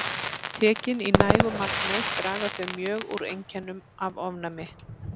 Tekin í nægu magni draga þau mjög úr einkennum af ofnæmi.